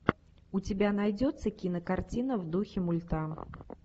у тебя найдется кинокартина в духе мульта